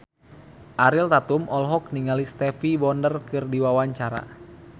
Ariel Tatum olohok ningali Stevie Wonder keur diwawancara